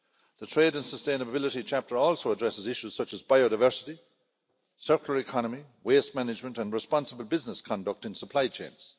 The trade and sustainability chapter also addresses issues such as biodiversity, circular economy, waste management and responsible business conduct in supply chains.